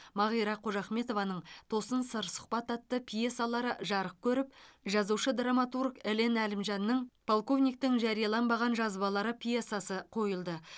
мағира қожахметованың тосын сыр сұхбат атты пьесалары жарық көріп жазушы драматург елен әлімжанның полковниктің жарияланбаған жазбалары пьесасы қойылды